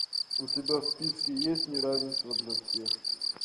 у тебя в списке есть неравенство для всех